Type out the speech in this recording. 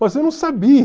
Mas eu não